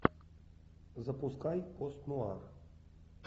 запускай пост нуар